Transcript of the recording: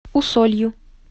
усолью